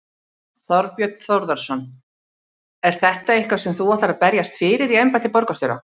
Þorbjörn Þórðarson: Er þetta eitthvað sem þú ætlar að berjast fyrir í embætti borgarstjóra?